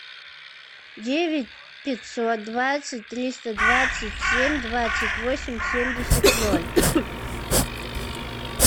девять пятьсот двадцать триста двадцать семь двадцать восемь семьдесят ноль